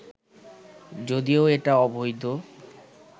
যদিও এটা অবৈধ